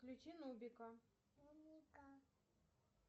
включи нубика